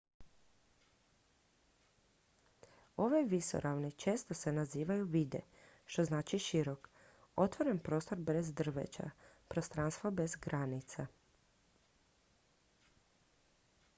"ove visoravni često se nazivaju "vidde" što znači širok otvoren prostor bez drveća prostranstvo bez granica.